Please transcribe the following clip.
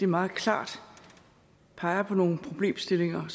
meget klart peger på nogle problemstillinger